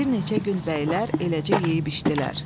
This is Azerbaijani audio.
Bir neçə gün bəylər eləcə yeyib içdilər.